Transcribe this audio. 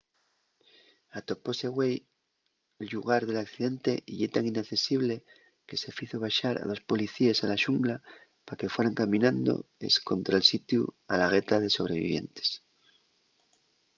atopóse güei’l llugar del accidente y ye tan inaccesible que se fizo baxar a dos policíes a la xungla pa que fueran caminando escontra’l sitiu a la gueta de sobrevivientes